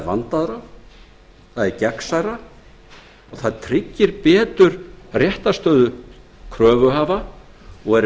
vandaðra og gegnsærra ferli og tryggir betur réttarstöðu kröfuhafa og er